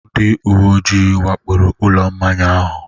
Ndị uwe ojii wakporo ụlọ mmanya ahụ?